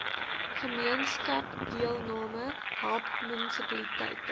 gemeenskapsdeelname help munisipaliteite